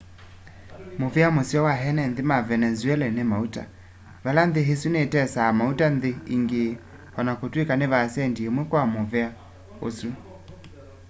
muvea museo wa ene nthi ma venezuela ni mauta vala nthi isu nitesaa mauta nthi ingi o na kutwika ni vaasendi imwe kwa muvea usu